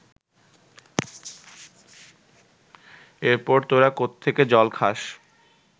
এরপর তোরা কোত্থেকে জল খাস